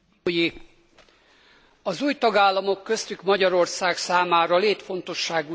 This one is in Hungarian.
Az új tagállamok köztük Magyarország számára létfontosságú témát vitatunk most.